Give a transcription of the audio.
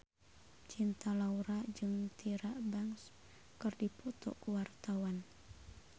Cinta Laura jeung Tyra Banks keur dipoto ku wartawan